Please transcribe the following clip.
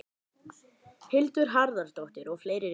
Hildur Harðardóttir og fleiri ritstjórar.